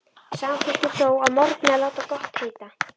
Samþykkti þó að morgni að láta gott heita.